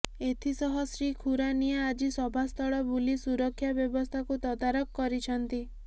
ଏଥିସହ ଶ୍ରୀ ଖୁରାନିଆ ଆଜି ସଭାସ୍ଥଳ ବୁଲି ସୁରକ୍ଷା ବ୍ୟବସ୍ଥାକୁ ତଦାରଖ କରିଛନ୍ତି